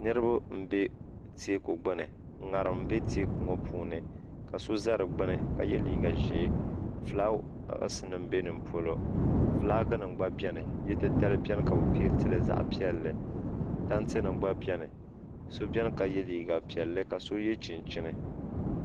Niriba m be teeku gbini ŋarim be teeku ŋɔ puuni ka so za di gbini ka ye liiga ʒee filaawaasi nima be nimpolo filaaki nima gna biɛni titali biɛni ka bɛ pentili zaɣa piɛlli tanti nima gba biɛni so biɛni ka ye liiga piɛlli do ye chinchini.